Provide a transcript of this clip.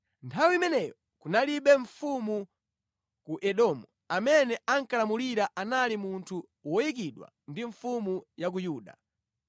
Nthawi imeneyo kunalibe mfumu ku Edomu, amene ankalamulira anali munthu woyikidwa ndi mfumu ya ku Yuda.